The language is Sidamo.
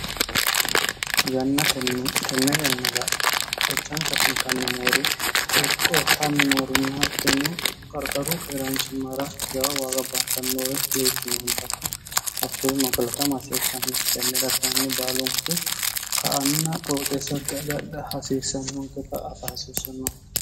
yanna tenne yannada echansa fultanni noori qorqortanni noorini hattonno qarqaru keeraanchimmara jawa waagabbaattannoore geochu moodatu hakkuri noo kilatm hasiissnmosi tenneda kyinni baalunku ka anna phorooxeessanki agadha hasiissannonke ta afa hasiissanno